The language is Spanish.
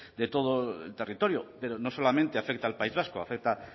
de todo el territorio pero no solamente afecta al país vasco afecta